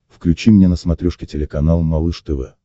включи мне на смотрешке телеканал малыш тв